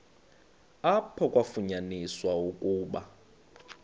apho kwafunyaniswa ukuba